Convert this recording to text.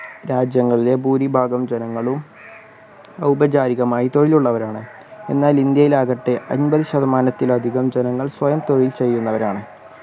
രാജ്യങ്ങളിലെ ഭൂരിഭാഗം ജനങ്ങളും ഔപചാരികമായി തൊഴിലുള്ളവരാണ് എന്നാൽ ഇന്ത്യയിൽ ആകട്ടെ അമ്പത് ശതമാനത്തിലധികം ജനങ്ങൾ സ്വയം തൊഴിൽ ചെയ്യുന്നവരാണ്